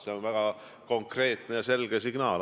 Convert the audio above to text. See on väga konkreetne ja selge sõnum.